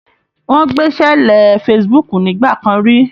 Wọn gbẹ́sẹ̀lé Facebook nígbà kan ri.